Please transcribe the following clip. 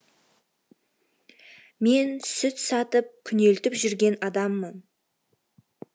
мен сүт сатып күнелтіп жүрген адаммын